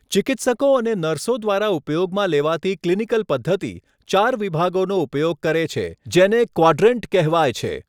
ચિકિત્સકો અને નર્સો દ્વારા ઉપયોગમાં લેવાતી ક્લિનિકલ પદ્ધતિ, ચાર વિભાગોનો ઉપયોગ કરે છે જેને ક્વાડ્રેન્ટ કહેવાય છે.